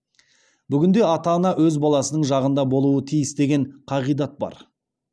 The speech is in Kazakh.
бүгінде ата ана өз баласының жағында болуы тиіс деген қағидат бар